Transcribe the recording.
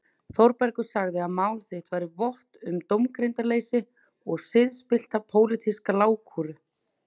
Þórbergur sagði að mál þitt bæri vott um dómgreindarleysi og siðspillta pólitíska lágkúru.